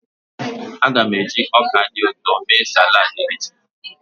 Aga m eji ọka dị ụtọ mee salad echi.